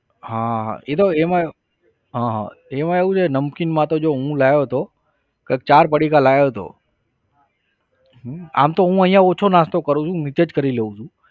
હા એતો એમાં હા હા એમાં એવું છે નમકીનમાં તો જો હું લાવ્યો હતો કંઈક ચાર પડીકા લાવ્યો હતો આમ તો હું અહીંયા ઓછો નાસ્તો કરું છું નીચે જ કરી લઉ છું.